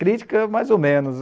Crítica, mais ou menos.